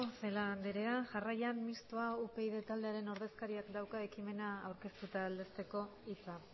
celaá andrea jarraian mistoa upyd taldearen ordezkariak dauka ekimena aurkeztu eta aldezteko hitza